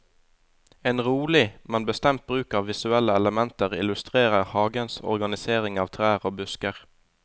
En rolig, men bestemt bruk av visuelle elementer illustrerer hagens organisering av trær og busker.